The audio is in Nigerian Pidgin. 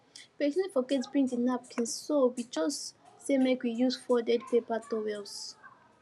person forget bring the napkins so we just say make we use folded paper towels